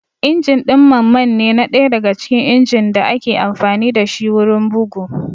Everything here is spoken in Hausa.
Injin ɗin mammanne na ɗaya daga cikin injin ɗin da ake amfani dashi wurin bugu